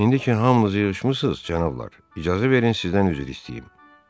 İndi ki hamınız yığışmısız, cənablar, icazə verin sizdən üzr istəyim.